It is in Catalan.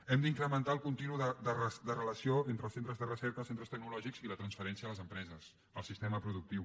hem d’incrementar el contínuum de relació entre els centres de recerca els centres tecnològics i la transferència a les empreses al sistema productiu